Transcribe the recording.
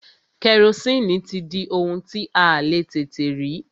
Kẹrosini ti di ohun tí a le tètè rí.